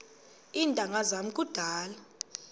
iintanga zam kudala